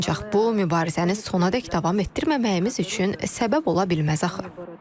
Ancaq bu, mübarizəni sonadək davam etdirməməyimiz üçün səbəb ola bilməz axı.